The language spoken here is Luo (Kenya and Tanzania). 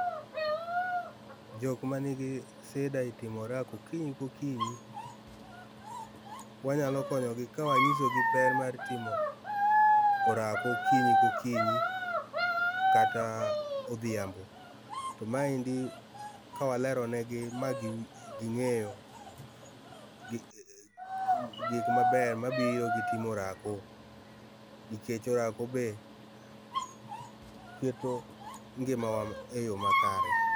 jok ma nigi shida e timo orako okinyi kokinyi wanyalo konyogi ka wanyisogi ber mar timo orako okinyi kokinyi kata odhiambo. To maendi ka waleronigi ma ging'eyo gik mabeyo mabiro gi timo orako nikech orako be keto ngimawa e yo makare.